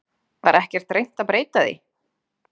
Var ekkert reynt að breyta því?